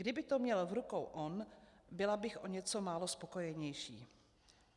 Kdyby to měl v rukou on, byla bych o něco málo spokojenější.